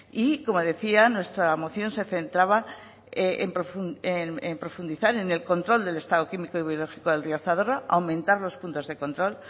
y como decía nuestra moción se centraba en profundizar en el control del estado químico y biológico del río zadorra aumentar los puntos de control